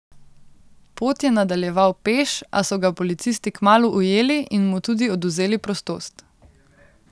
Pot je nadaljeval peš, a so ga policisti kmalu ujeli in mu tudi odvzeli prostost.